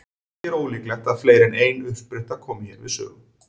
Ekki er ólíklegt að fleiri en ein uppspretta komi hér við sögu.